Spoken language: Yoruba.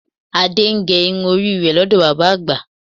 Adé ń gé irun orí rẹ̀ lọ́dọ̀ bàbá àgbà